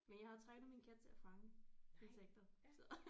Men jeg har trænet min kat til at fange insekter så